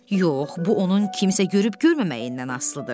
Yox, bu onun kimsə görüb-görməməyindən asılıdır.